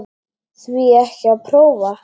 Því ekki að prófa?